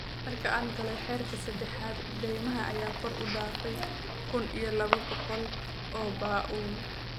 Markii aan galay heerka seddexaad, deymaha ayaa kor u dhaafay kun iyo laba boqol oo paaaun